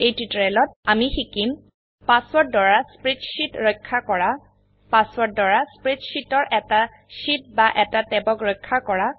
এই টিউটোৰিয়েলত আমিশিকিম পাসওয়াৰ্ড দ্বাৰা স্প্ৰেডশীট ৰক্ষা কৰা পাসওয়াৰ্ড দ্বাৰা স্প্ৰেডশীটৰএটা শীট বা এটা ট্যাবক ৰক্ষা কৰা